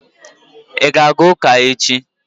I ga-aga ụka echi?